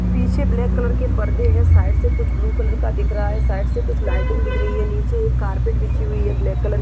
पीछे black colour के परदे हैं। साइड से कुछ ब्लू कलर का दिख रहा है। साइड से कुछ लाइटिंग दिख रही है। नीचे एक कार्पेट बिछी हुई है ब्लैक कलर --